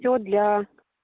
все для